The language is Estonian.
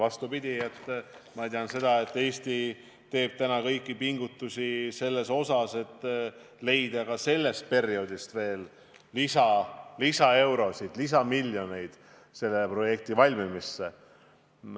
Vastupidi, ma tean seda, et Eesti teeb täna kõik, et leida ka sellest perioodist lisaeurosid, lisamiljoneid, mis panustada Rail Balticu projekti valmimisse.